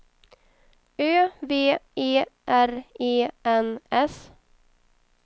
Ö V E R E N S